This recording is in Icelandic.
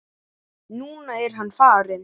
Núna er hann farinn.